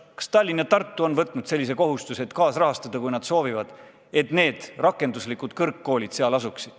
Kas Tallinn ja Tartu on võtnud endale kohustuse neid rakenduslikke kõrgkoole kaasrahastada, kui nad soovivad, et need seal edaspidigi asuksid?